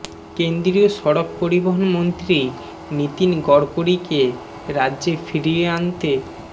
কেন্দ্রীয় সড়ক পরিবহণ মন্ত্রী নিতিন গড়করিকে রাজ্যে ফিরিয়ে আনতে